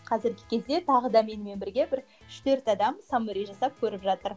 қазіргі кезде тағы да менімен бірге бір үш төрт адам саммари жасап көріп жатыр